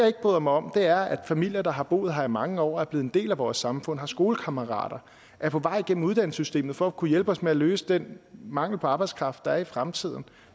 ikke bryder mig om er at familier der har boet her i mange år og er blevet en del af vores samfund de har skolekammerater er på vej gennem uddannelsessystemet for at kunne hjælpe os med at løse den mangel på arbejdskraft der er i fremtiden